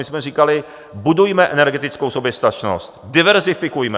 My jsme říkali: Budujme energetickou soběstačnost, diverzifikujme!